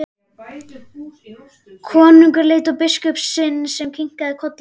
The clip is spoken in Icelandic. Konungur leit á biskup sinn sem kinkaði kolli.